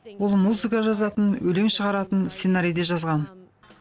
ол музыка жазатын өлең шығаратын сценарий де жазған